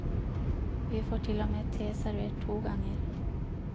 Vi får til og med te servert to ganger.